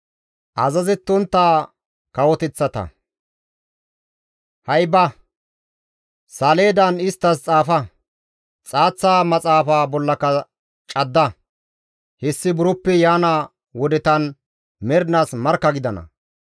Ha7i ba; saleedan isttas xaafa; xaaththa maxaafa bollaka cadda; hessi buroppe yaana wodetan mernaas markka gidana.